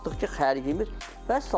Baxdıq ki, xərcimiz vəssalam.